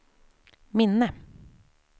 minne